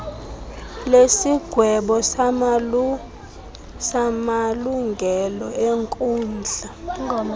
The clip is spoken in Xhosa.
lesigwebo samalungelo enkundla